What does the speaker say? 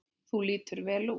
Þú lítur vel út.